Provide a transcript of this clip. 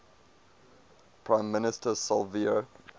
prime minister silvio